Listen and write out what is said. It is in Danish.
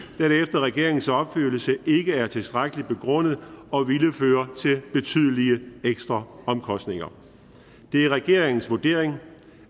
regeringens opfattelse ikke er tilstrækkelig begrundet og ville føre til betydelige ekstraomkostninger det er regeringens vurdering